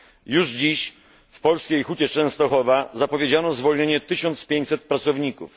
Już dziś w polskiej Hucie Częstochowa zapowiedziano zwolnienie 1500 pracowników.